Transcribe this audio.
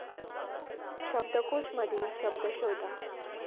शब्दकोश मधील शब्द शोधा